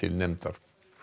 nefndar